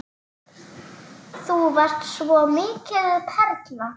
Þú varst svo mikil perla.